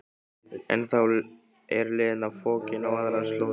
En þá er Lena fokin á aðrar slóðir.